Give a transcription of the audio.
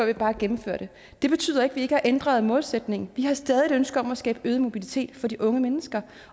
vi bare gennemfører det det betyder ikke at vi har ændret målsætningen vi har stadig et ønske om at skabe øget mobilitet for de unge mennesker